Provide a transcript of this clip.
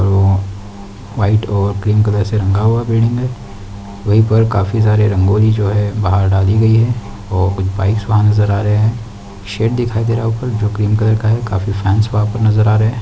White और cream colour से रंगा हुआ बिल्डिंग है वही पर काफी सारे रंगोली जो है बाहर डाली गई है और कुछ बाइक्स वहाँ नज़र आ रहे है शेड दिखाई दे रहा है ऊपर जो क्रीम कलर का है काफी फैंस वहाँ पर नज़र आ रहे है।